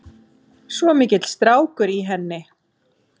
Svo mikill strákur í henni.